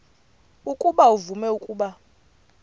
ukuba uvume ukuba